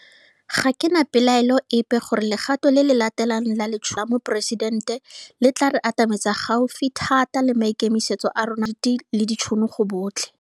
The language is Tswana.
Ga ke na pelaelo epe gore legato le le latelang la Letsholo la go Tlhola Ditiro la Moporesidente le tla re atametsa gaufi thata le maikemisetso a rona a ditiro tse di seriti le ditšhono go botlhe.